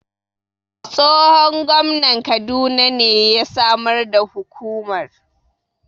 Tsohon Gwamnan kaduna ne ya Samar da Hukumar